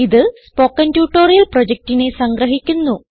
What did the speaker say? ഇതു spoken tutorial പ്രൊജക്റ്റിനെ സംഗ്രഹിക്കുന്നു